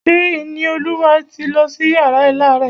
Ṣé Ìníolúwa ti lọ sí yàrá alárẹ̀?